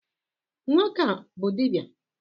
nwoke a bu dibia?